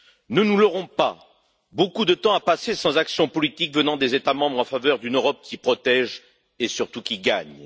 Ne nous leurrons pas, beaucoup de temps a passé sans action politique venant des États membres en faveur d'une Europe qui protège et, surtout, qui gagne.